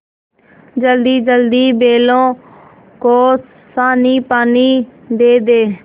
जल्दीजल्दी बैलों को सानीपानी दे दें